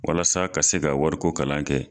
Walasa ka se ka wari ko kalan kɛ.